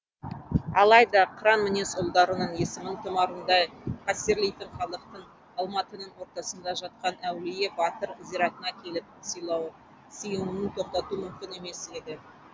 алайда қыран мінез ұлдарының есімін тұмарындай қастерлейтін халықтың алматының ортасында жатқан әулие батыр зиратына келіп сыйынуын тоқтату мүмкін емес еді